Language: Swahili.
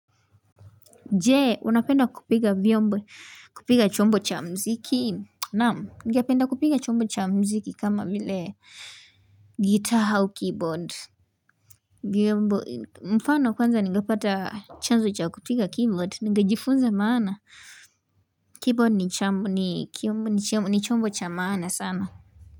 Je, unapenda kupiga vyombo, kupiga chombo cha mziki? Naam, ningependa kupiga chombo cha mziki kama vile guitar au keyboard. Vyombo, mfano kwanza ningepata chanzo cha kupiga keyboard, ningejifunza maana. Keyboard ni chombo cha maana sana.